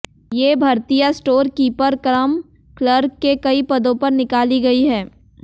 ये भर्तियां store keeper cum clerk के कई पदों पर निकाली गई है